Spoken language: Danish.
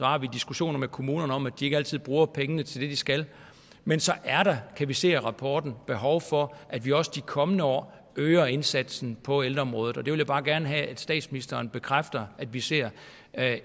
har vi diskussioner med kommunerne om at de ikke altid bruger pengene til det de skal men så er der kan vi se af rapporten behov for at vi også de kommende år øger indsatsen på ældreområdet og det vil jeg bare gerne have at statsministeren bekræfter at vi ser